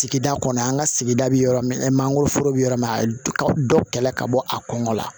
Sigida kɔnɔ an ka sigida bɛ yɔrɔ min mangoroforo bɛ yɔrɔ min na a ka dɔ kɛlɛ ka bɔ a kɔngɔ la